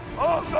Ateş!